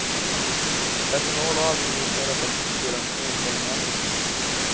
Personal och allmänhet har rätt att protestera mot nedskärningar.